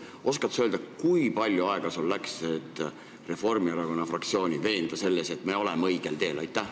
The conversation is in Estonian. Oskad sa öelda, kui palju aega sul läks, et Reformierakonna fraktsiooni veenda selles, et me oleme õigel teel?